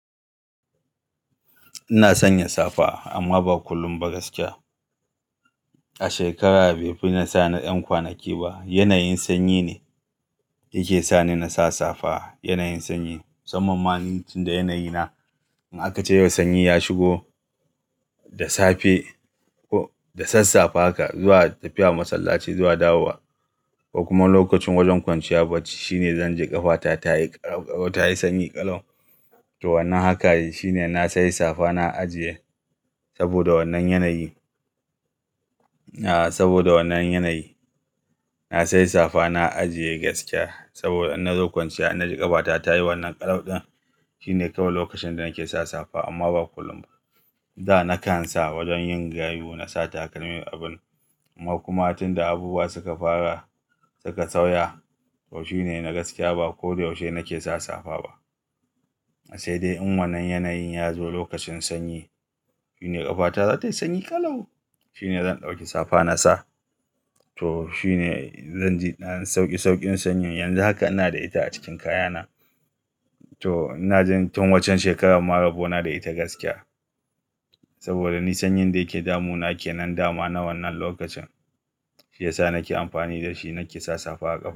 Ina sanya safa amma ba kullum ba gaskiya. A shekara bai fi na sa na 'yan kwanaki ba. Yanayin sanyi ne yake sa ni na sa safa. Yanayin sanyi. Samman ma tunda yanayi na in aka ce yau sanyi ya shigo da safe ko da sassafe haka zuwa tafiya masallaci zuwa dawowa, ko kuma lokacin wajen kwanciya bacci shine zan ji ƙafata ta yi ƙaƙaɓa ta yi sanyi ƙalau. To wannan haka shine na sai safa na ajiye saboda wannan yanayi. Aa saboda wannan yanayi. Na sai safa na ajiye gaskiya saboda in na zo kwanciya, na ji ƙafata tayi wannan ƙalauɗin shine kawai lokacin da nake sa safa amma ba kullum ba. Da na kan sa wajen yin gayu na sa takalmin abin, amma kuma tun da abubuwa suka fara suka sauya to s nohi ne na gaskiya ba kodayaushe nake sa safa ba. Sai dai in wannan yanayin ya zo lokacin sanyi shine ƙafata za ta yi sanyi ƙalau. Shine zan ɗauki safa na sa to shine zan ji sauki saukin sanyi. Yanzu haka ina da ita a cikin kayana to ina jin tun waccan shekarar ma rabo na da ita gaskiya. Saboda ni sanyin da yake damu nake nan damu na wannan lokacin. Shi yasa nake amfani da shi nake sa safa a ƙafa.